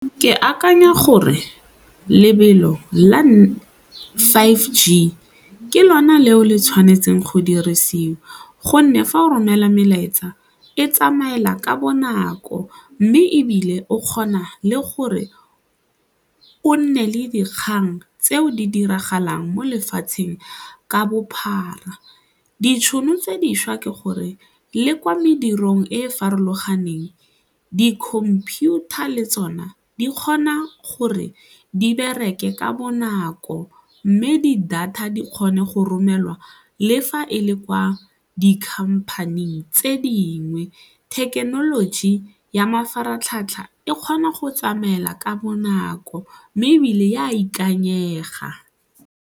Ke akanya gore lebelo la five G ke lona leo le tshwanetseng go dirisiwa gonne fa o romela melaetsa e tsamaela ka bonako mme ebile o kgona le gore o nne le dikgang tseo di diragalang mo lefatsheng ka bophara. Ditšhono tse dišwa ke gore le kwa medirong e e farologaneng di-computer le tsone di kgona gore di bereke ka bonako mme di-data di kgone go romelwa le fa e le kwa di-company-eng tse dingwe, thekenoloji ya mafaratlhatlha e kgona go tsamaela ka bonako mme ebile e a ikanyega.